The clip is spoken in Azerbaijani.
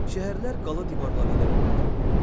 Şəhərlər qala divarları ilə müdafiə olunurdu.